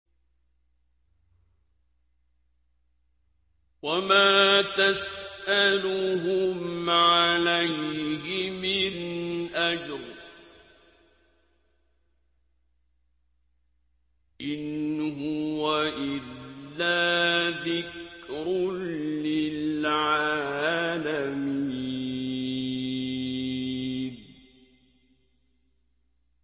وَمَا تَسْأَلُهُمْ عَلَيْهِ مِنْ أَجْرٍ ۚ إِنْ هُوَ إِلَّا ذِكْرٌ لِّلْعَالَمِينَ